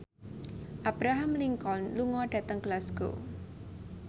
Abraham Lincoln lunga dhateng Glasgow